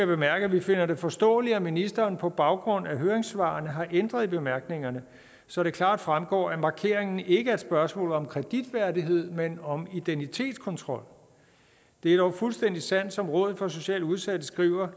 bemærke at vi finder det forståeligt at ministeren på baggrund af høringssvarene har ændret i bemærkningerne så det klart fremgår at markeringen ikke er et spørgsmål om kreditværdighed men om identitetskontrol det er dog fuldstændig sandt som rådet for socialt udsatte skriver at